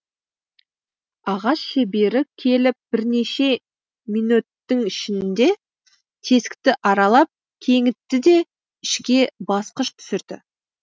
ағаш шебері келіп бірнеше минөттің ішінде тесікті аралап кеңітті де ішке басқыш түсірді